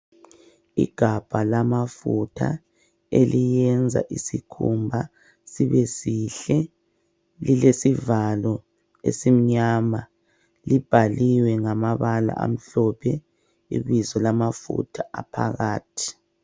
Igabha lamafutha eliyenza isikhumba sibesihle, lilesivalo esiimnyama libhaliwe ngamabala amhlophe ibizo lamafutha aphakakathi.